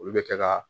Olu bɛ kɛ ka